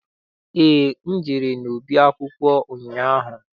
Eé, ejere m n'ọba akwụkwọ ụnyaahụ.